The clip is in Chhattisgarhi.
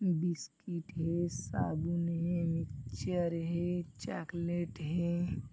बिस्कीट हे साबुन हे मिच्चर हे चॉकलेट हे।